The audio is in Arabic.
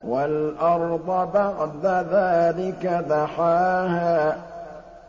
وَالْأَرْضَ بَعْدَ ذَٰلِكَ دَحَاهَا